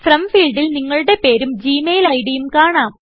from ഫീൾഡിൽ നിങ്ങളുടെ പേരും ജി മെയിൽ ഇഡ് യും കാണാം